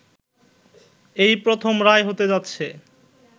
এই প্রথম রায় হতে যাচ্ছে